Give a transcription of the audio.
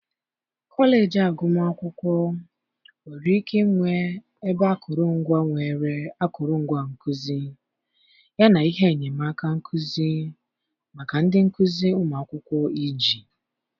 kọleji agụmakwụkwọ nwere ike ịnwe ebe akụrụngwa nwere akụrụngwa nkuzi yana ihe enyemaka nkuzi maka ndị nkuzi ụmụ akwụkwọ iji.